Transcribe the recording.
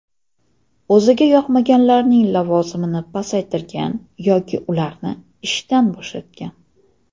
O‘ziga yoqmaganlarning lavozimini pasaytirgan yoki ularni ishdan bo‘shatgan.